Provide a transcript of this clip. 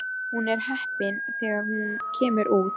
Hún er heppin þegar hún kemur út.